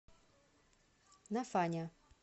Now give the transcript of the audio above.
нафаня